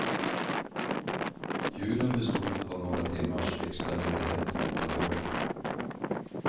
Julen bestod av några timmars extra ledighet från jobbet.